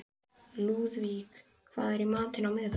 Lúðvík, hvað er í matinn á miðvikudaginn?